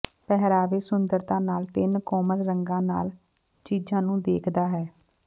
ਪਹਿਰਾਵੇ ਸੁੰਦਰਤਾ ਨਾਲ ਤਿੰਨ ਕੋਮਲ ਰੰਗਾਂ ਨਾਲ ਚੀਜ਼ਾਂ ਨੂੰ ਦੇਖਦਾ ਹੈ